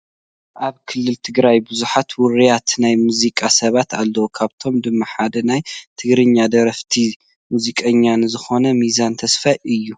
ኣብ ክልል ትግራይ ብዙሓት ውሩያት ናይ ሙዚቃ ሰባት ኣለው፡፡ ካብኣቶም ድማ ሓደ ናይ ትግርኛ ደረፍቲን ሙዚቀኛ ን ዝኾነ ሚዛን ተስፋይ እዩ፡፡